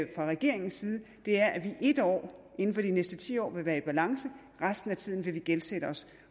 regeringens side er at vi ét år inden for de næste ti år vil være i balance resten af tiden vil vi gældsætte os